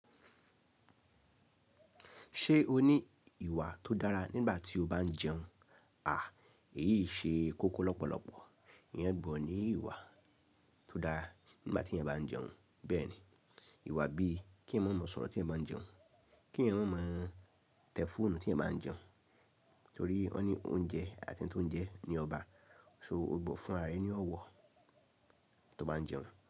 Ṣé o ní ìwà tó dára nígbà tí o bá ń jẹun? A, èyí ṣe kókó lọ́pọ̀lọpọ̀. Ìyẹn gbudọ̀ ní ìwà tó dára nígbà tí ẹ̀yàn bá ń jẹun. Bẹ́ẹ̀ ni, ìwà bíi kẹ̀eyan mọ́ mo ń sọ̀rọ̀ tí ẹ̀eyan bá ń jẹun, kí ẹ̀eyan mọ́ mo ń tẹ fóònù tí ẹ̀eyan bá ń jẹun, torí ó ní oúnjẹ àti tó ń jẹ ni ó bá, ṣó gbọ́ fún àára re ní ọ̀wọ̀ tó bá ń jẹun.